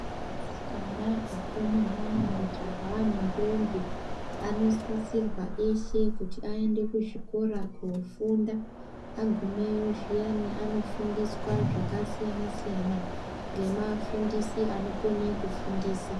Asikana akomana majaha nendombi anosisirwa eshe kuti aende kuzvikora kofunda agumeyo zviyani anofundiswa Zvakasiyana siyana nevafundisi vanokona kufundisa.